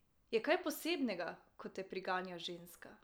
Je kaj posebnega, ko te priganja ženska?